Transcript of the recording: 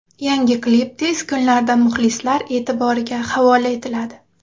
Yangi klip tez kunlarda muxlislar e’tiboriga havola etiladi.